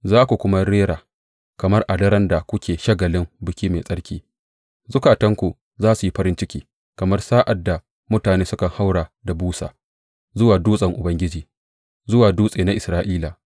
Za ku kuma rera kamar a daren da kuke shagalin biki mai tsarki; zukatanku za su yi farin ciki kamar sa’ad da mutane sukan haura da busa zuwa dutsen Ubangiji, zuwa Dutse na Isra’ila.